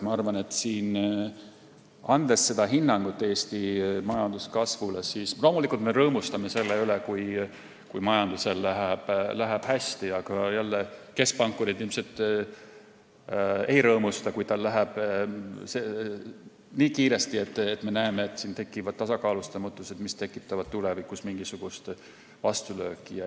Ma arvan, et andes hinnangut Eesti majanduskasvule, me loomulikult rõõmustame selle üle, kui majandusel läheb hästi, aga keskpankurid ilmselt jälle ei rõõmusta, kui majandus kasvab nii kiiresti, et tekivad tasakaalustamatused, mis tekitavad tulevikus mingisugust vastulööki.